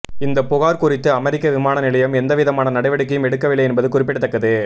இந்த புகார் குறித்து அமெரிக்க விமான நிலையம் எந்தவிதமான நடவடிக்கையும் எடுக்கவில்லை என்பது குறிப்பிடத்தக்கது